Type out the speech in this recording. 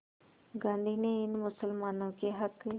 गांधी ने इन मुसलमानों के हक़